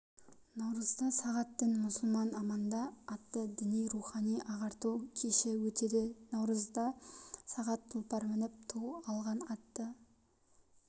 наурызда сағат дін-мұсылман аманда атты діни-рухани ағарту кеші өтеді наурызда сағат тұлпар мініп ту алған атты